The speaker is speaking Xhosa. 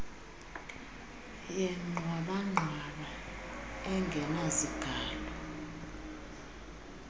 yengxwaba ngxwaba engenazigalo